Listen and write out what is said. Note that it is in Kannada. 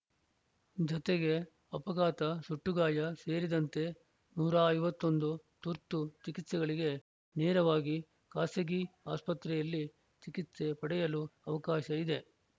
ಜತೆಗೆ ಅಪಘಾತ ಸುಟ್ಟಗಾಯ ಸೇರಿದಂತೆ ನೂರ ಐವತ್ತ್ ಒಂದು ತುರ್ತು ಚಿಕಿತ್ಸೆಗಳಿಗೆ ನೇರವಾಗಿ ಖಾಸಗಿ ಆಸ್ಪತ್ರೆಯಲ್ಲಿ ಚಿಕಿತ್ಸೆ ಪಡೆಯಲು ಅವಕಾಶ ಇದೆ